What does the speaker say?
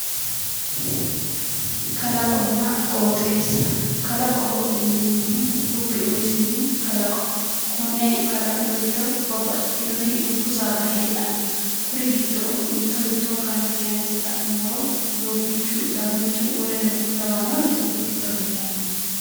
Kalaqonna qoxxeessa, kalaqoho yinneemmohu dubbu umisinni kalaqoho, kone kalaqu giddo babbaxitinoti dubbu saada heedhano kuri giddo mitto mitto kayinse la'nuummoro, Doobichunna Dagunchu lawanori dubbu giddo heedhano.